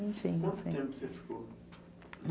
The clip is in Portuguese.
Quanto tempo você ficou?